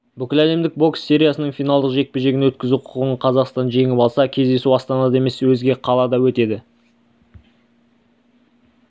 бүкіләлемдік бокс сериясының финалдық жекпе-жегін өткізу құқығын қазақстан жеңіп алса кездесу астанада емес өзге қалада өтеді